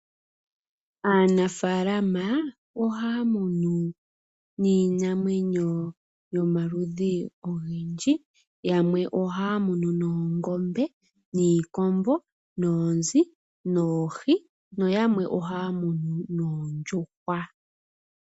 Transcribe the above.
Aanafaalama ohaya munu niinamwenyo yomaludhi ogendji, yamwe noongombe, niikombo, noonzi, noohi, nayamwe ohaya munu oondjuhwa.